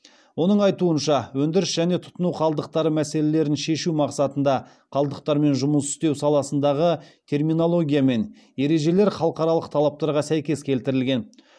оның айтуынша өндіріс және тұтыну қалдықтары мәселелерін шешу мақсатында қалдықтармен жұмыс істеу саласындағы терминология мен ережелер халықаралық талаптарға сәйкес келтірілген